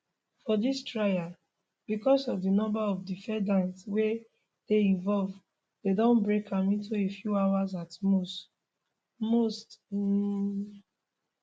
for dis trial becos of di number of defendants wey dey involved dem don break am into a few hours at most most um